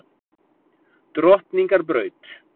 Drottningarbraut